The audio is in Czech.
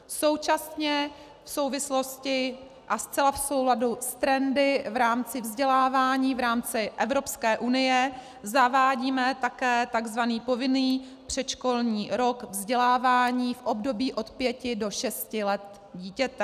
Současně v souvislosti a zcela v souladu s trendy v rámci vzdělávání v rámci Evropské unie zavádíme také tzv. povinný předškolní rok vzdělávání v období od 5 do 6 let dítěte.